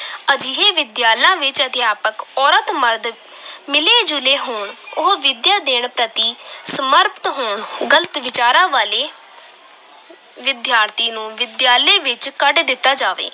ਅਜਿਹੀ ਵਿੱਦਿਆਲਾ ਵਿੱਚ ਅਧਿਆਪਕ ਔਰਤ ਮਰਦ ਮਿਲੇ ਜੁਲੇ ਹੋਣ, ਉਹ ਵਿੱਦਿਆ ਦੇਣ ਪ੍ਰਤੀ ਸਮਰਪਿਤ ਹੋਣ, ਗ਼ਲਤ ਵਿਚਾਰਾਂ ਵਾਲੇ ਵਿਦਿਆਰਥੀ ਨੂੰ ਵਿਦਿਆਲੇ ਵਿੱਚ ਕੱਢ ਦਿੱਤਾ ਜਾਵੇ।